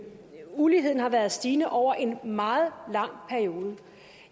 at uligheden har været stigende over en meget lang periode